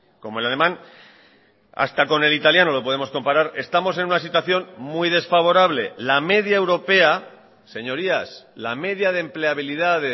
como el alemán hasta con el italiano lo podemos comparar estamos en una situación muy desfavorable la media europea señorías la media de empleabilidad